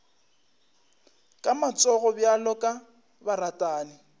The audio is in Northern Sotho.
ka matsogo bjalo ka baratani